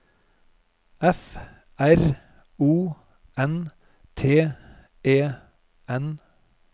F R O N T E N